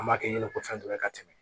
An b'a kɛ ɲe ko fɛn dɔ ye ka tɛmɛ